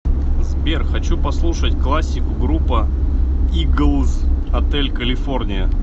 сбер хочу послушать классику группа иглз отель калифорния